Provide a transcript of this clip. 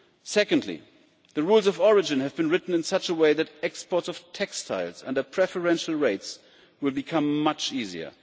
Secondly, the rules of origin have been written in such a way that exports of textiles under preferential rates will become much easier.